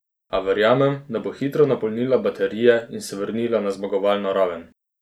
A verjamem, da bo hitro napolnila baterije in se vrnila na zmagovalno raven.